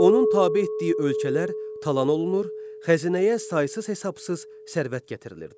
Onun tabe etdiyi ölkələr talan olunur, xəzinəyə saysız-hesabsız sərvət gətirilirdi.